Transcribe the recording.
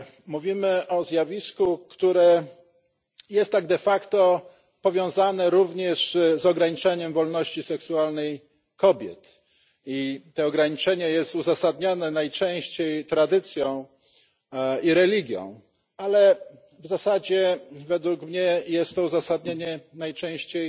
Mówimy o zjawisku, które jest de facto powiązane również z ograniczeniem wolności seksualnej kobiet i to ograniczenie jest uzasadniane najczęściej tradycją i religią, ale w zasadzie według mnie jest to uzasadnienie najczęściej